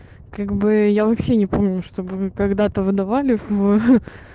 как бы я вообще не помню чтобы мы когда-то выдавали в